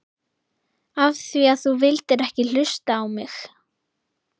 Af því að þú vildir ekki hlusta á mig!